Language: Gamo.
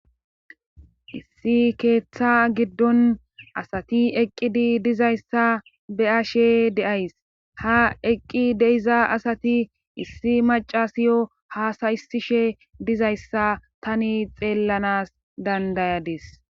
Issi keettaa giddon asati eqqidi dizayssa be7ashe de7ays; ha eqqi de7iza asati issi maccasiyo hasayissishe dizayssa tani xeellanas danddayades.